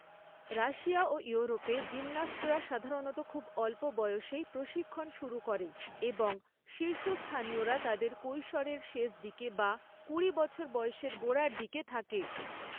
Russia ও ইউরোপে জিমন্যাস্টরা সাধারণত খুব অল্প বয়সেই প্রশিক্ষণ শুরু করে এবং শীর্ষস্থানীয়রা তাদের কৈশোরের শেষদিকে বা কুড়ি বছর বয়সের গোড়ার দিকে থাকে।